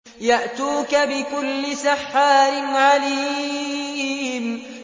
يَأْتُوكَ بِكُلِّ سَحَّارٍ عَلِيمٍ